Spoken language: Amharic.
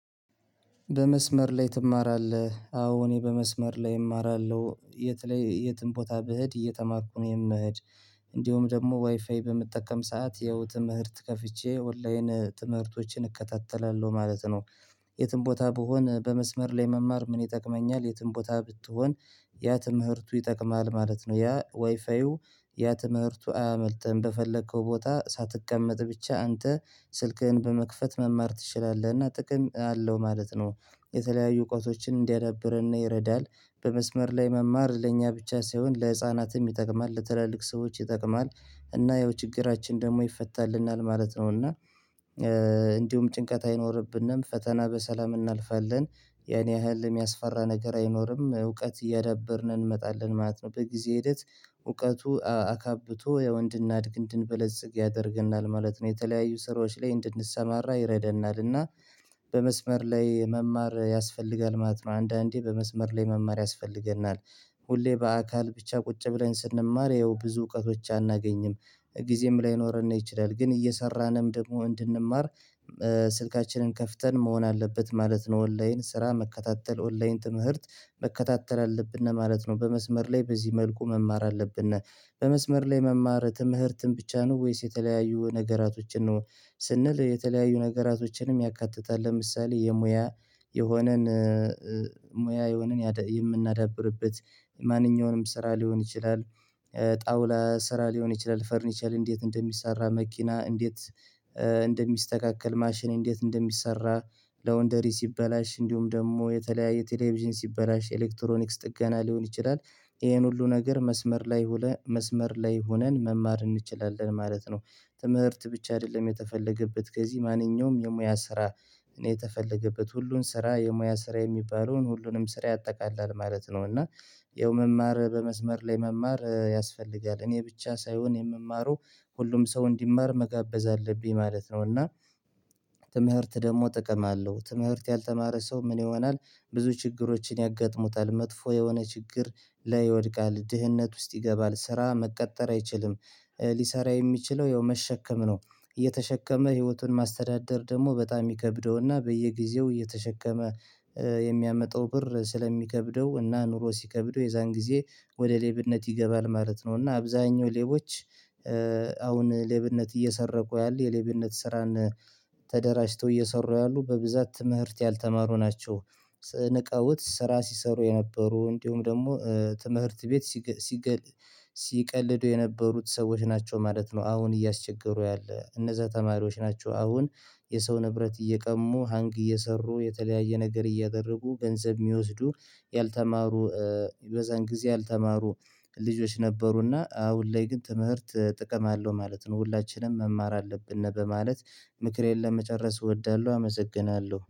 በመስመር ላይ ትማራለህ? አዎ እኔ በመስመር ላይ እማራለሁ የት ላይ የትም ቦታ ብሄድ እየተማኩ ነው የምሄድ። እንዲሁም ደግሞ ዋይፋይ በምጠቀም ሰዓት ያው ትምህርት ከፍቼ ኦንላይን ትምህርቶችን እከታተላለሁ ማለት ነው። የትም ቦታ ብሆን በመስመር ላይ መማር ምን ይጠቅመኛል የትም ቦታ ብትሆን። ያ ትምህርቱ ይጠቅምሃል ማለት ነው ያ ዋይፋዩ ያ ትምህርቱ አያመልጥህም በፈለከው ቦታ ሳትቀመጥ ብቻ አንተ ስልክህን በመክፈት መማር ትችላለህና ጥቅም አለው ማለት ነው። የተለያዩ እውቀቶችን እንዲያዳብርና ይረዳል። በመስመር ላይ መማር ለእኛ ብቻ ሳይሆን ለህፃናትም ይጠቅማል ለተለያዩ ሰዎች ይጠቅማል። እና ያው ችግራችን ደግሞ ይፈታልናል ማለት ነው እና እንዲሁም ጭንቀት አይኖርብንም ፈተና በሰላም እናልፋለን። ያን ያህል የሚያስፈራ ነገር አይኖርም እውቀት እያዳበርን እንመጣለን ማለት ነው በጊዜ ሂደት። እውቀቱ አካብቶ ያው እንድናድግ እንድንበለጽግ ያደርገናል ማለት ነው የተለያዩ ስራዎች ላይ እንድንሰማራ ይረዳናል እና። በመስመር ላይ መማር ያስፈልጋል ማለት ነው አንዳንዴ በመስመር ላይ መማር ያስፈልገናል። ሁሌ በአካል ብቻ ቁጭ ብለን ስንማር ያው ብዙ እውቀቶች አናገኝም ጊዜም ላይኖረን ነው ይችላል ግን እየሰራንም ደግሞ እንድንማር። ስልካችንን ከፍተን መሆን አለበት ማለት ነው ኦንላይን ስራ መከታተል ኦንላይን ትምህርት መከታተል አለብን ማለት ነው በመስመር ላይ በዚህ መልኩ መማር አለብን። በመስመር ላይ መማር ትምህርትን ብቻ ነው ወይስ የተለያዩ ነገራቶችን ነው? ስንል የተለያዩ ነገራቶችንም ያካትታል ለምሳሌ የሙያ የሆነን ሙያ የሆነን የምናዳብርበት ማንኛውንም ስራ ሊሆን ይችላል። ጠውላ ስራ ሊሆን ይችላል ፈርኒቸር እንዴት እንደሚሰራ መኪና እንዴት እንደሚስተካከል ማሽን እንዴት እንደሚሰራ? ላውንደሪ ሲበላሽ እንዲሁም ደግሞ የተለያየ ቴሌቪዥን ሲበላሽ ኤሌክትሮኒክስ ጥገና ሊሆን ይችላል። ይሄን ሁሉ ነገር መስመር ላይ ውለ መስመር ላይ ሆነን መማር እንችላለን ማለት ነው። ትምህርት ብቻ አይደለም የተፈለገበት ከዚህ ማንኛውም የሙያ ስራ የተፈለገበት ሁሉን ስራ የሙያ ስራ የሚባለውን ሁሉንም ስራ ያጠቃላል ማለት ነው። እና ይኸው መማር በመስመር ላይ መማር ያስፈልጋል እኔ ብቻ ሳይሆን የምማረው ሁሉም ሰው እንዲማር መጋበዝ አለብኝ ማለት ነው። እና ትምህርት ደግሞ ጥቅም አለው ትምህርት ያልተማረ ሰው ምን ይሆናል? ብዙ ችግሮችን ያጋጥሙታል መጥፎ የሆነ ችግር ላይ ይወድቃል ድህነት ውስጥ ይገባል ስራ መቀጠር አይችልም። ሊሰራ የሚችለው ያው መሸከም ነው እየተሸከመ ህይወቱን ማስተዳደር ደግሞ በጣም ይከብደውና በየጊዜው እየተሸከመ የሚያመጣው ብር ስለሚከብደው እና ኑሮ ሲከብደው የዛን ጊዜ ወደ ሌብነት ይገባል ማለት ነው። እና አብዛኛው ሌቦች አሁን ሌብነት እየሰረቁ ያሉ የሌብነት ስራን ተደራጅተው እየሰሩ ያሉ በብዛት ትምህርት ያልተማሩ ናቸው። ንቀውት ስራ ሲሰሩ የነበሩ እንዲሁም ደግሞ ትምህርት ቤት ሲቀልዱ የነበሩት ሰዎች ናቸው ማለት ነው። አሁን እያስቸገሩ ያለ እነዛ ተማሪዎች ናቸው አሁን የሰው ንብረት እየቀሙ ሀንግ እየሰሩ የተለያየ ነገር እያደረጉ ገንዘብ የሚወስዱ ያልተማሩ በዛን ጊዜ ያልተማሩ ልጆች ነበሩና አሁን ላይ ግን ትምህርት ጥቅም አለው ማለት ነው። ሁላችንም መማር አለብን እና በማለት ምክሬን ለመጨረስ እወዳለሁ። አመሰግናለሁ